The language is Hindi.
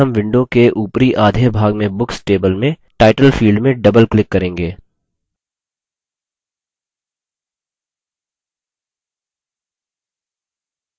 यह करने के लिए पहले हम window के upper आधे भाग में books table में title field में double click करेंगे